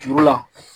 Juru la